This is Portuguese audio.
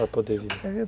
Para poder viver.